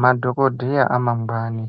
madhokodheya amangwani.